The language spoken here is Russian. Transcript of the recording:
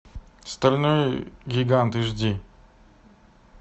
стальной гигант эйч ди